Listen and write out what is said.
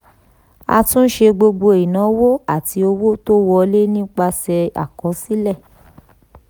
àtúnṣe gbogbo ìnáwó àti owó tó wọlé nípasẹ̀ àkọsílẹ̀.